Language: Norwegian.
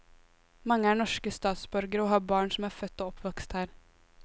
Mange er norske statsborgere og har barn som er født og oppvokst her.